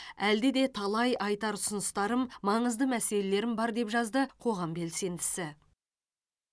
әлде де талай айтар ұсыныстарым маңызды мәселелерім бар деп жазды қоғам белсендісі